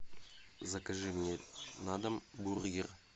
закажи мне на дом бургер